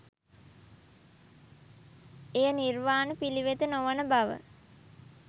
එය නිර්වාණ පිළිවෙත නොවන බව